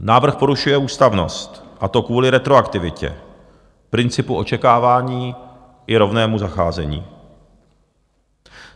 Návrh porušuje ústavnost, a to kvůli retroaktivitě, principu očekávání i rovnému zacházení.